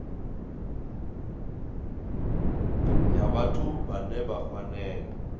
ya vhathu vhane vha fanela